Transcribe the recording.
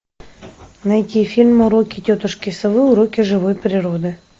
найти фильм уроки тетушки совы уроки живой природы